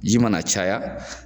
Ji mana caya.